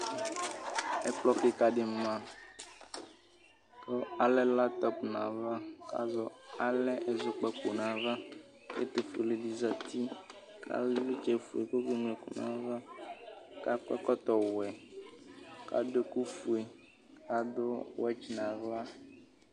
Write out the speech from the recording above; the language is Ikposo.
Ɛkplɔ kɩka dɩ ma, kalɛ latɔp nayava, kalɛ ɛzɔkpako nayavaƐtʋ fue di zati kalɛ ɩvlɩtsɛ fue kɔke ŋlo ɛkʋ nayavaAkɔ ɛkɔtɔ wɛ, kadʋ ɛkʋ fue, kadʋ wɛtsɩ naɣla